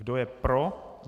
Kdo je pro?